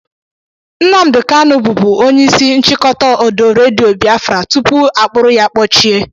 Nnamdi Kanụ bụbu onyeisi nchịkọta ọdọ redio Bịafran tụpụ akpụrụ ya kpọchie